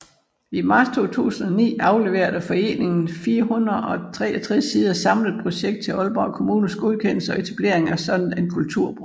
I marts 2009 afleverede foreningen et 463 sider samlet projekt til Aalborg Kommunes godkendelse og etablering af en sådan kulturbro